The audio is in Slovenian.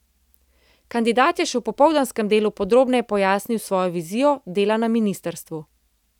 Kandidat je še v popoldanskem delu podrobneje pojasnil svojo vizijo dela na ministrstvu.